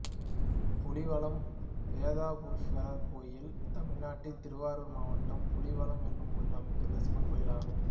புலிவலம் வேதபுரீஷ்வரர் கோயில் தமிழ்நாட்டில் திருவாரூர் மாவட்டம் புலிவலம் என்னும் ஊரில் அமைந்துள்ள சிவன் கோயிலாகும்